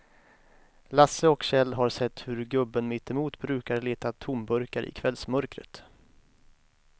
Lasse och Kjell har sett hur gubben mittemot brukar leta tomburkar i kvällsmörkret.